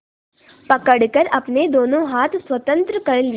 पकड़कर अपने दोनों हाथ स्वतंत्र कर लिए